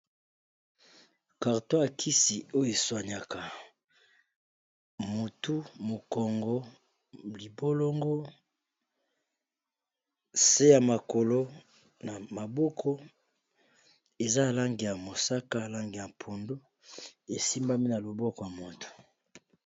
carto akisi oyo eswaniaka motu mokongo libolongo se ya makolo na maboko eza alange ya mosaka alange ya mpondo esimbami na loboko ya moto